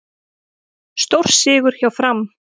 Stórsigur hjá Fram